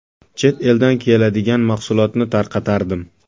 Chet eldan keladigan mahsulotni tarqatardim.